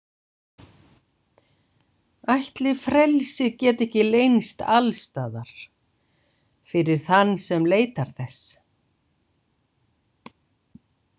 Ætli frelsið geti ekki leynst alstaðar, fyrir þann sem leitar þess.